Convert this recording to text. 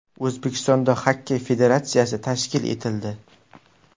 O‘zbekistonda Xokkey federatsiyasi tashkil etildi.